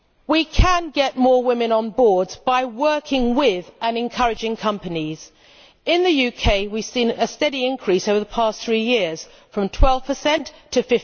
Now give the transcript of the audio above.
We can get more women onto boards by working with, and encouraging, companies. In the UK we have seen a steady increase over the past three years, from 12 to